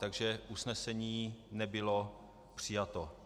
Takže usnesení nebylo přijato.